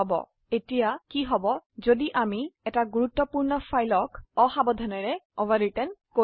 এখন কি হবে যদি অসাবধানতাবশত আমি একটি গুৰুত্বপূৰ্ণ ফাইল কে overwritten160